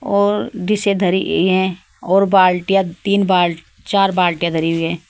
और डिशें धरी ई हैं और बाल्टियाँ तीन बाल् चार बाल्टियाँ धरी हुई हैं।